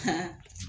Ka